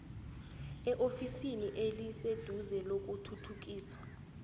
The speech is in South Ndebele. eofisini eliseduze lokuthuthukiswa